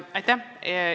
Aitäh!